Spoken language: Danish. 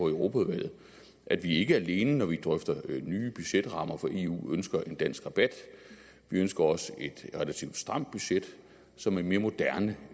europaudvalget at vi ikke alene når vi drøfter nye budgetrammer for eu ønsker en dansk rabat vi ønsker også et relativt stramt budget som er mere moderne